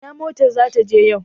Ina motar za ta je yau?